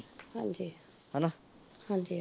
ਹਾਂਜੀ ਅਮ ਹਾਂਜੀ